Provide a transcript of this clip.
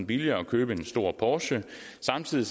billigere at købe en stor porsche samtidig